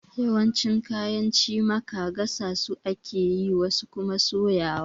Yawancin kayan cimaka gasa su ake yi, wasu kuma soyawa.